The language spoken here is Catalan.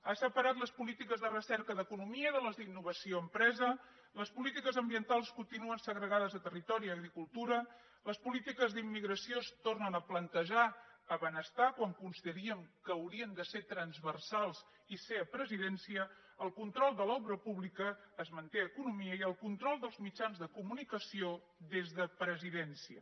ha separat les polítiques de recerca d’economia de les d’innovació a empresa les polítiques ambientals continuen segregades a territori i agricultura les polítiques d’immigració es tornen a plantejar a benestar quan consideraríem que haurien de ser transversals i ser a presidència el control de l’obra pública es manté a economia i el control dels mitjans de comunicació des de presidència